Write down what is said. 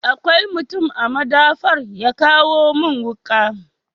Akwai mutum a madafar ya kawo mun wuka?